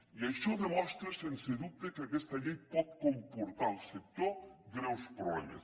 i això demostra sens dubte que aquesta llei pot comportar al sector greus problemes